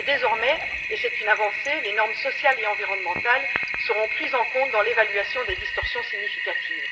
Mais désormais et c'est une avancée les normes sociales et environnementales seront prises en considération dans l'évaluation des distorsions significatives.